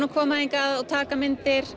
að koma hingað og taka myndir